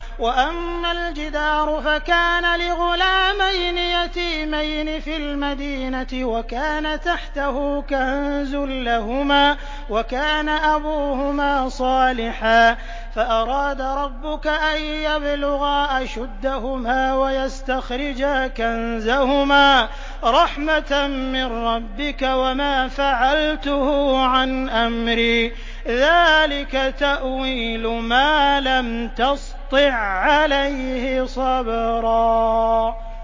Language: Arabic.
وَأَمَّا الْجِدَارُ فَكَانَ لِغُلَامَيْنِ يَتِيمَيْنِ فِي الْمَدِينَةِ وَكَانَ تَحْتَهُ كَنزٌ لَّهُمَا وَكَانَ أَبُوهُمَا صَالِحًا فَأَرَادَ رَبُّكَ أَن يَبْلُغَا أَشُدَّهُمَا وَيَسْتَخْرِجَا كَنزَهُمَا رَحْمَةً مِّن رَّبِّكَ ۚ وَمَا فَعَلْتُهُ عَنْ أَمْرِي ۚ ذَٰلِكَ تَأْوِيلُ مَا لَمْ تَسْطِع عَّلَيْهِ صَبْرًا